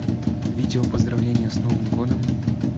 видеопоздравление с новым годом